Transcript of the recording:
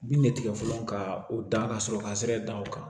Bin bɛ tigɛ fɔlɔ ka o da ka sɔrɔ ka sira dan o kan